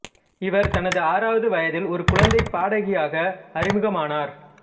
இவர் தனது ஆறாவது வயதில் ஒரு குழந்தைப் பாடகியாக அறிமுகமானார்